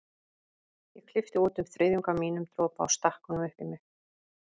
Ég klippti út um þriðjung af mínum dropa og stakk honum upp í mig.